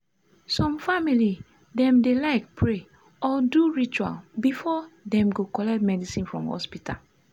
some family dem dey like pray or do ritual before dem go collect medicine for hospital.